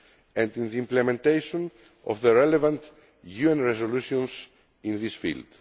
and with the implementation of the relevant UN resolutions in this field.